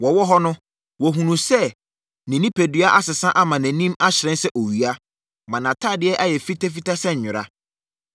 Wɔwɔ hɔ no, wɔhunuu sɛ ne onipadua asesa ama nʼanim ahyerɛn sɛ owia, ma nʼatadeɛ ayɛ fitafita sɛ nwera.